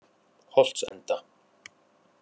Holtsenda